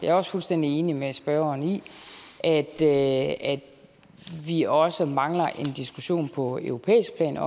er også fuldstændig enig med spørgeren i at at vi også mangler en diskussion på europæisk plan